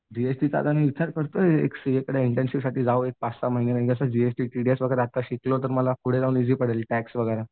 जीएसटीचं आता मी विचार करतोय एक सीएकडं मी इंटर्नशिप साठी जाऊ एक पाच सहा महिने जीएसटी, टीडीएस वगैरे आता शिकलो तर पुढे जाऊन ईजी पडेल टॅक्स वगैरा.